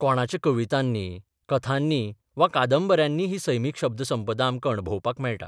कोणाच्या कवितांनी, कथांनी वा कादंबऱ्यांनी ही सैमीक शब्दसंपदा आमकां अणभवपाक मेळटा.